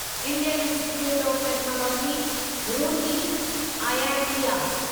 Indian institute of technology Roorkee IITR